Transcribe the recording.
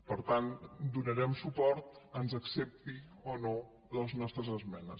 per tant hi donarem suport ens accepti o no les nostres esmenes